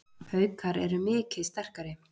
Haukar eru mikið sterkari